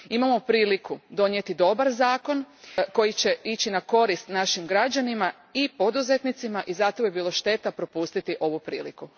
Imamo priliku donijeti dobar zakon koji će ići na korist našim građanima i poduzetnicima, i zato bi bilo šteta propustiti ovu priliku.